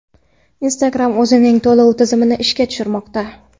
Instagram o‘zining to‘lov tizimini ishga tushirmoqda.